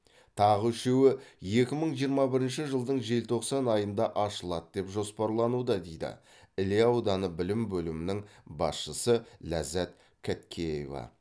тағы үшеуі екі мың жиырма бірінші жылдың желтоқсан айында ашылады деп жоспарлануда дейді іле ауданы білім бөлімінің басшысы ләззат кәткеева